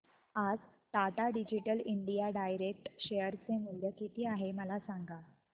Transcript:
आज Tata digital India direct share चे मूल्य किती आहे मला सांगा